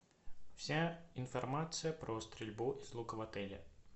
вся информация про стрельбу из лука в отеле